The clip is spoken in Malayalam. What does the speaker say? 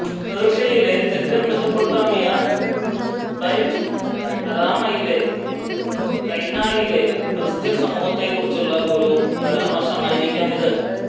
പേർഷ്യയിലെ തെക്കൻ മെസൊപ്പൊട്ടേമിയ ബെറ്റ് അരാമെയിലെ കൈനായിലെ ക്രിസ്ത്യൻ സമൂഹത്തെക്കുറിച്ചുള്ള ഒരു പരാമർശമായിരിക്കാം ഇത്